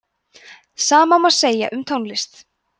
sama má segja um tónlist